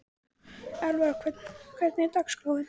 Elvar, hvernig er dagskráin?